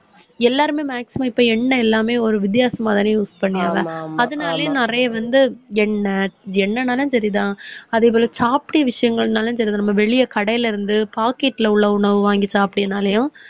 எல்லாருமே maximum இப்ப எண்ணெய் எல்லாமே, ஒரு வித்தியாசமாதானே use பண்றாங்க. அதனாலேயும் நிறைய வந்து எண்ணெய், என்னனாலும் தெரியுதா அதேபோல softy விஷயங்கள்னாலும் சரி, நம்ம வெளிய கடையில இருந்து packet ல உள்ள உணவு வாங்கி சாப்பிட்டிங்கனாலையும்,